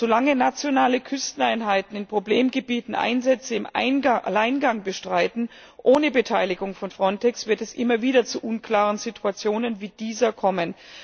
Solange nationale Küsteneinheiten in Problemgebieten Einsätze im Alleingang bestreiten, ohne Beteiligung von Frontex, wird es immer wieder zu unklaren Situationen wie dieser kommen.